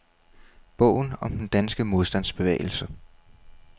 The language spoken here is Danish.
Bogen om den danske modstandsbevægelse.